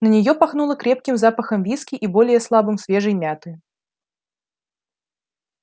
на неё пахнуло крепким запахом виски и более слабым свежей мяты